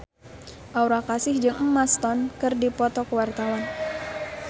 Aura Kasih jeung Emma Stone keur dipoto ku wartawan